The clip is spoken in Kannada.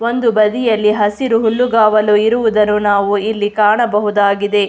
ಒಂದು ಬದಿಯಲ್ಲಿ ಹಸಿರು ಹುಲ್ಲು ಗಾವಲು ಇರುವುದನ್ನು ನಾವು ಇಲ್ಲಿ ಕಾಣಬಹುದಾಗಿದೆ.